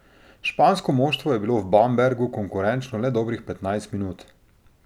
Špansko moštvo je bilo v Bambergu konkurenčno le dobrih petnajst minut.